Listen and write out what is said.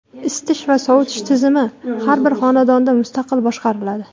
Isitish va sovitish tizimi har bir xonadonda mustaqil boshqariladi.